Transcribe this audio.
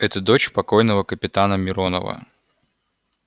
это дочь покойного капитана миронова